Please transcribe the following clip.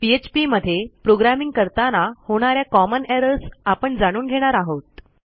PHP मध्ये programming करताना होणा या कॉमन एरर्स आपण जाणून घेणार आहोत